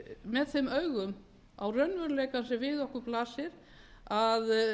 með þeim augum á raunveruleikann sem við okkur blasir að